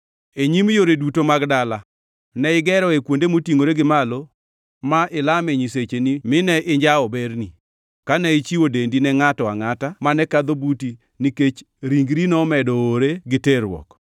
E nyim yore duto mag dala, ne igeroe kuonde motingʼore gi malo ma ilame nyisecheni mine injawo berni, kane ichiwo dendi ne ngʼato angʼata mane kadho buti nikech ringri nomedo oowre ni terruok.